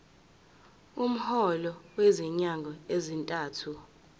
umholo wezinyanga ezintathu